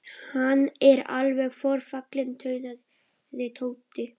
Hann er alveg forfallinn tautaði Tóti.